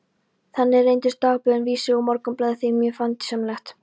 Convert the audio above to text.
Þannig reyndust dagblöðin Vísir og Morgunblaðið þeim mjög fjandsamleg.